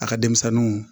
A ka denmisɛnninw